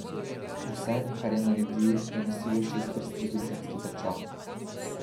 Vse, kar je naredil, je nosilo šestprsti družinski pečat.